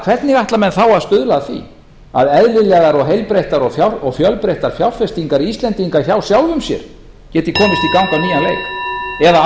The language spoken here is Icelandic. hvernig ætla menn þá að stuðla að því að eðlilegar og heilbrigðar og fjölbreyttar fjárfestingar íslendinga hjá sjálfum sér geti komist í gang á nýjan leik eða á